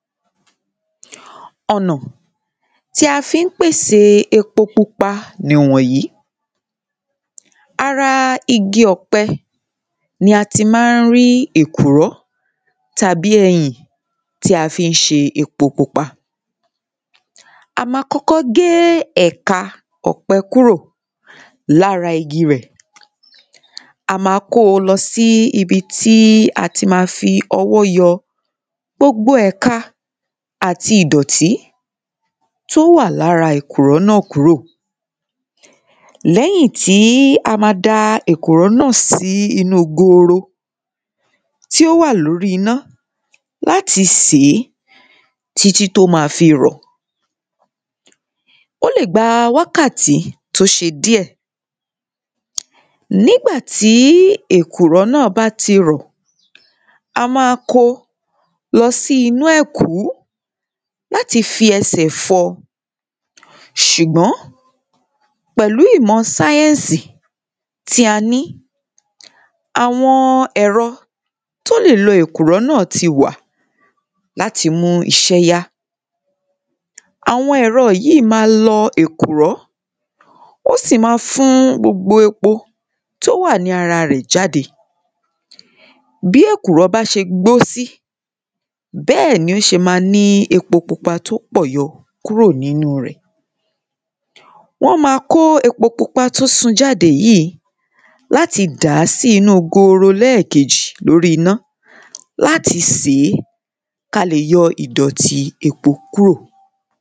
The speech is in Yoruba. Ọ̀nà tí a fi ń pèsè epo pupa nìwọ̀nyìí Ara igi ọ̀pẹ ni a ti máa ń ri èkùrọ́ tàbí ẹyìn tí a fi ń ṣe epo pupa A máa kọ́kọ́ gé ẹ̀ka ọ̀pẹ kúrò lára igi rẹ̀ A ma kó o lọ sí ibi tí a ti ma fi ọwọ́ yọ gbogbo ẹ̀ka àti ìdọ̀tí tí ó wà ní ara èkùrọ́ náà kúrò Lẹ́yìn tí a ma da èkùrọ́ náà sí inú gooro tí ó wà ní orí iná láti sè é títí tí ó ma fi rọ̀ O lè gba wákàtí tí ó ṣe díẹ̀ Nígbà tí èkùrọ́ náà bá ti rọ̀ a máa kó lọ sí inú ẹ̀kú láti fi ẹsẹ̀ fọ Ṣùgbọ́n pẹ̀lú ìmọ̀ sáyẹ́ǹsì tí a ni àwọn ẹ̀rọ tí ó lọ èkùrọ́ náà tí wà láti mú iṣe yá Àwọn ẹ̀rọ yìí ma lọ èkùrọ́ Ó sì máa fún gbogbo epo tí ó wà ní ara rẹ̀ jáde Bí èkùrọ́ bá ṣe gbó sí bẹ́ẹ̀ ni ó ṣe ma ní epo pupa tí ó pọ̀ yọ kúrò nínú rẹ̀ Wọ́n ma kó epo pupa tí ó sun jáde yìí láti dà á sí inú gooro ní ẹ̀kéjì ní orí iná Láti sè é kí a lè yọ ìdọ̀tí epo kúrò